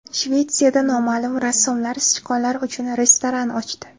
Shvetsiyada noma’lum rassomlar sichqonlar uchun restoran ochdi.